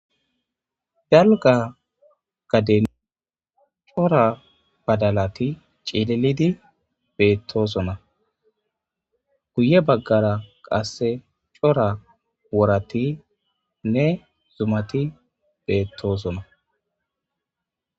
Galga gaden cora badalati cilelidi beettosona guye baggara qasse cora worati ne zumati beettoosona